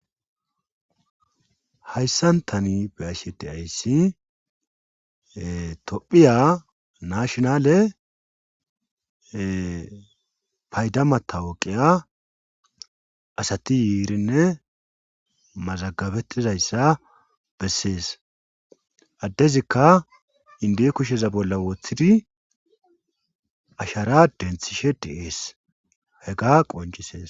hayssan tani be'ashe deayssi tophiya nashonale paydamata woqiya asati yiirinne mazagabettizayssa bessees addezikka inde kusheza bolla wooththidi ashara denthishe deees he ga qoncisees